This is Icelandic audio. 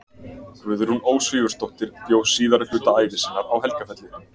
Guðrún Ósvífursdóttir bjó síðari hluta ævi sinnar á Helgafelli.